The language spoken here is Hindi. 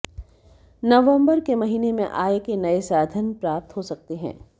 नवंबर के महीने में आय के नए साधन प्राप्त हो सकते हैं